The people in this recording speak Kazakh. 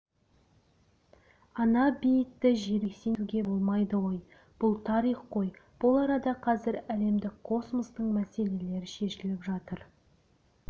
ана-бейітті жермен-жексен етуге болмайды ғой бұл тарих қой бұл арада қазір әлемдік космостық мәселелер шешіліп жатыр